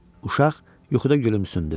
Uşaq yuxuda gülümsündü.